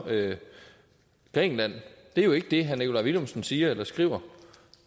grækenland er jo ikke det herre nikolaj villumsens siger eller skriver